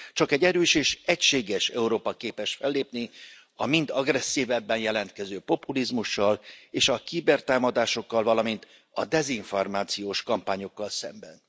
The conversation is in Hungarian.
Csak egy erős és egységes Európa képes fellépni a mind agresszívebben jelentkező populizmussal és a kibertámadásokkal, valamint a dezinformációs kampányokkal szemben.